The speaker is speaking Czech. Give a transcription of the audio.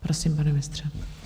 Prosím, pane ministře.